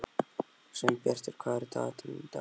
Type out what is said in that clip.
Sveinbjartur, hvað er í dagatalinu í dag?